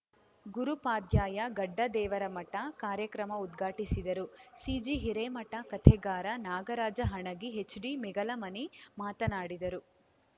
ಗುರುಪಾದ್ಯಯ್ಯ ಗಡ್ಡದೇವರಮಠ ಕಾರ್ಯಕ್ರಮ ಉದ್ಘಾಟಿಸಿದರು ಸಿಜಿ ಹಿರೇಮಠ ಕಥೆಗಾರ ನಾಗರಾಜ ಹಣಗಿ ಎಚ್ಡಿ ಮೇಗಲಮನಿ ಮಾತನಾಡಿದರು